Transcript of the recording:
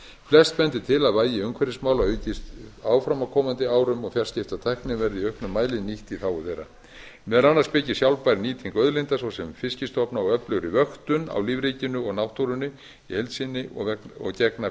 flest bendir til að vægi umhverfismála aukist áfram á komandi árum og fjarskiptatækni verði í auknum mæli nýtt í þágu þeirra meðal annars byggist sjálfbær nýting auðlinda svo sem fiskstofna og öflugri vöktun á lífríkinu og náttúrunni í heild sinni og gegna